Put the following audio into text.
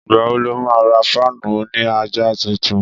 Ìgbà wo lo má ra fáànù òní àjà tuntun?